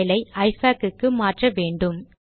style ஐ இஃபாக் க்கு மாற்ற வேண்டும்